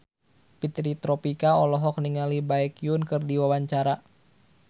Fitri Tropika olohok ningali Baekhyun keur diwawancara